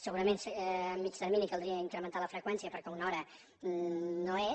segurament a mitjà termini caldria incrementar ne la freqüència perquè una hora no és